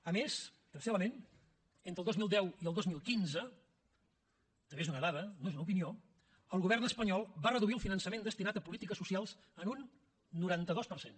a més tercer element entre el dos mil deu i el dos mil quinze també és una dada no és una opinió el govern espanyol va reduir el finançament destinat a polítiques socials en un noranta dos per cent